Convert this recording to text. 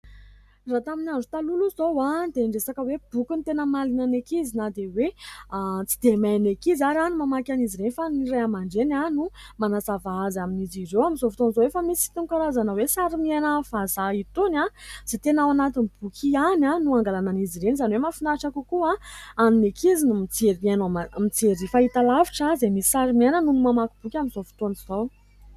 Raha tamin'ny andro taloha aloha izao dia ny resaka hoe boky no tena mahaliana ny ankizy. Na dia hoe tsy dia hain' ny ankizy ary ny mamaky an' izy ireny, fa ny ray aman- dreny no manazava amin'izy ireo. Amin'izao fotoana izao efa misy itony karazana hoe sary miaina vazaha itony, izay tena ao anatin'ny boky ihany no angalana an' izy ireny. Izany hoe mahafinahitra kokoa ny ankizy ny mijery fahitalavitra, izay misy sary miaina, noho ny mamaky boky amin'izao fotoana izao.